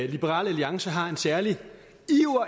liberal alliance har en særlig iver